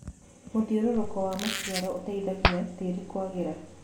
Mũthĩũrũrũko wa macĩaro ũteĩthagĩa tĩrĩ kũagĩra